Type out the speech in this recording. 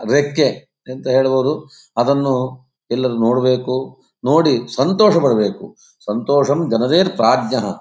ಅದಕ್ಕೆ ಎಂತ ಹೇಳಬಹುದು ಅದನ್ನು ಎಲ್ಲರು ನೋಡಬೇಕು ನೋಡಿ ಸಂತೋಷಪಡಬೇಕು .